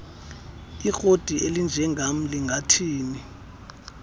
ikroti elinjengam lingathini